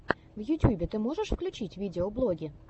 в ютьюбе ты можешь включить видеоблоги